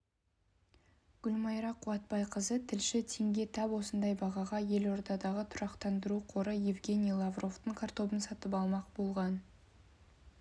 гүлмайра қуатбайқызы тілші теңге тап осындай бағаға елордадағы тұрақтандыру қоры евгений лавровтың картобын сатып алмақ болған